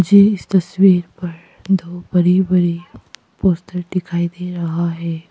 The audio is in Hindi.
मुझे इस तस्वीर पर दो बड़े बड़े पोस्टर दिखाई दे रहा है।